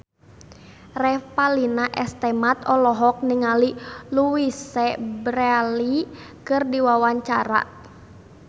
Revalina S. Temat olohok ningali Louise Brealey keur diwawancara